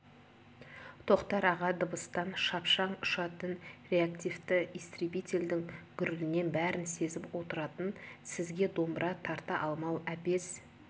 тоқтар аға дыбыстан шапшаң ұшатын реактивті истребительдің гүрілінен бәрін сезіп отыратын сізге домбыра тарта алмау әбес